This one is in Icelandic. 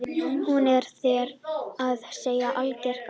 Hún er, þér að segja, algerlega gaga.